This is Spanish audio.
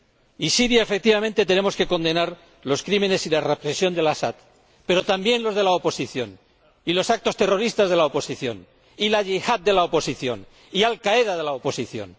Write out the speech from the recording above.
Y en Siria, efectivamente, tenemos que condenar los crímenes y la represión de el Asad, pero también los de la oposición, y los actos terroristas de la oposición, y la yihad de la oposición y Al Qaeda de la oposición.